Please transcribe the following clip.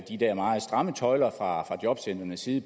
de der meget stramme tøjler fra jobcentrenes side